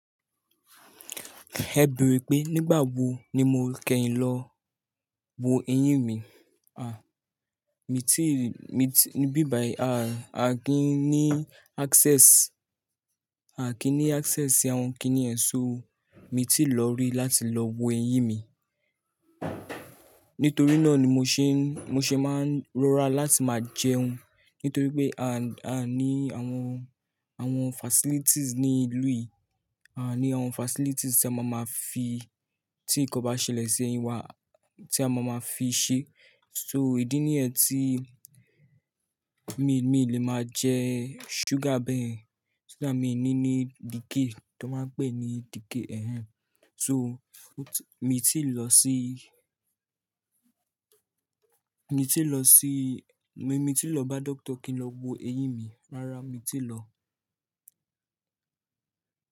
Ẹ̀ bèrè pé nígbà wo ni mo kẹ́yìn lọ wo eyín mi. Mi tíì, mi ti ní bíbàì, a, a kì í ní access, a kì í ní access sí àwọn kíní yẹ̀m só, mi ti lọ rí láti lọ wo eyín mi. Nítorí náà ni mo ṣe ń, mo ṣe máa ń rọra láti máa jẹun, nítorí pé a, a ní àwọn, àwọn facilities ní ìlú yìí, aa ní àwọn facilities tí a máa máa fi, tí nǹkan bá ṣẹlẹ̀ sí eyín wa, tí a máa máa fi ṣé. So idí ní yen tí mi, mi lè máa jẹ sugar bẹ́yẹ̀n, so that mii ní ní decay tó máa ń pè ní decay ẹ̀hẹn. So mi ti lọ sí, mi ti lọ sí, mi ti lọ bá doctor kí n lọ wo eyín mi. Rárá, mi ti lọ.